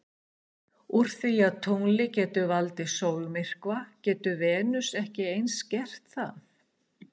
Úr því að tunglið getur valdið sólmyrkva getur Venus ekki eins gert það?